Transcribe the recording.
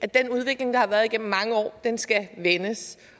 den udvikling der har været igennem mange år skal vendes